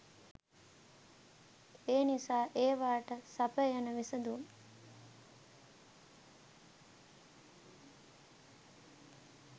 එනිසා ඒවාට සපයන විසඳුම්